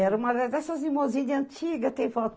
Era uma dessas limusine antigas, tem foto